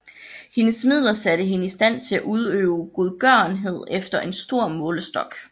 Hendes midler satte hende i stand til at udøve godgørenhed efter en stor målestok